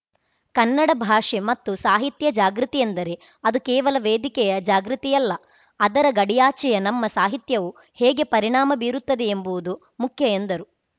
ಕನ್ನಡ ಭಾಷೆ ಮತ್ತು ಸಾಹಿತ್ಯ ಜಾಗೃತಿ ಎಂದರೆ ಅದು ಕೇವಲ ವೇದಿಕೆಯ ಜಾಗೃತಿಯಲ್ಲ ಅದರ ಗಡಿಯಾಚೆಯ ನಮ್ಮ ಸಾಹಿತ್ಯವು ಹೇಗೆ ಪರಿಣಾಮ ಬೀರುತ್ತದೆ ಎಂಬುವುದು ಮುಖ್ಯ ಎಂದರು